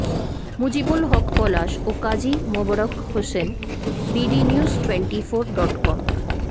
মুজিবুল হক পলাশ ও Kazi Mobarak Hossain bdnews twenty four dot com